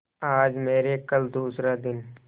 आज मरे कल दूसरा दिन